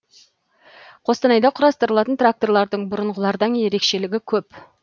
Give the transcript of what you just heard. қостанайда құрастырылатын тракторлардың бұрынғылардан ерекшелігі көп